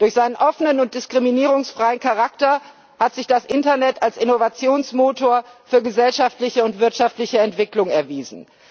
Durch seinen offenen und diskriminierungsfreien Charakter hat sich das Internet als Innovationsmotor für gesellschaftliche und wirtschaftliche Entwicklung erwiesen.